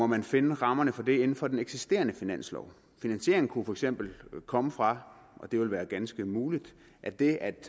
man finde rammerne for det inden for den eksisterende finanslov finansieringen kunne for eksempel komme fra og det ville være ganske muligt at det at